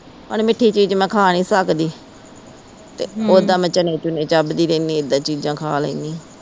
ਹੁਣ ਮਿੱਠੀ ਚੀਜ਼ ਮੈ ਖਾ ਨਹੀਂ ਸਕਦੀ ਤੇ ਓਦਾਂ ਮੈ ਚਨੇ ਚੁਣੇ ਚੱਬਦੀ ਰਹਿੰਦੀ ਏਦਾਂ ਚੀਜ਼ਾਂ ਖਾ ਲੈਣੀ